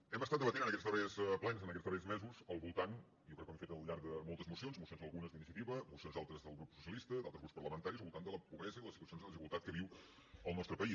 hem debatut en aquests darrers plens en aquests darrers mesos jo crec que ho hem fet al llarg de moltes mocions mocions algunes d’iniciativa mocions altres del grup socialista d’altres grups parlamentaris al voltant de la pobresa i les situacions de desigualtat que viu el nostre país